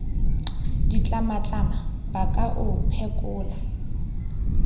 ditlamatlama ba ka o phekola